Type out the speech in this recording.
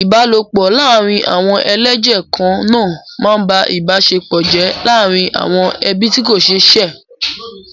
Ìbálòpọ̀ laarin awon eleje kanaa máa ń ba ìbáṣepọ̀ jẹ́ láàárín àwọn ẹbí tí kò ṣe é ṣe.